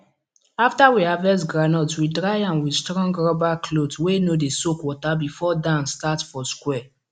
after we harvest groundnut we dry am with strong rubber cloth wey no dey soak water before dance start for square